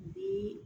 Bi